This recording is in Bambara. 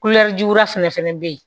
juguya fɛnɛ bɛ yen